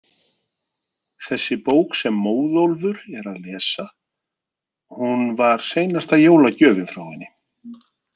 Þessi bók sem Móðólfur er að lesa, hún var seinasta jólagjöfin frá henni.